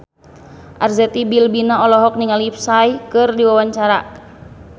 Arzetti Bilbina olohok ningali Psy keur diwawancara